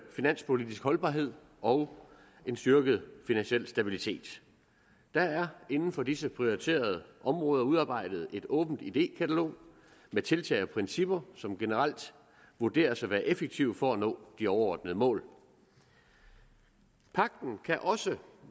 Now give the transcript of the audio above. finanspolitiske holdbarhed og styrke den finansielle stabilitet der er inden for disse prioriterede områder udarbejdet et åbent idékatalog med tiltag og principper som generelt vurderes at være effektive for at nå de overordnede mål pagten kan også